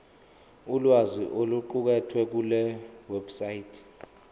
ulwazi oluqukethwe kulewebsite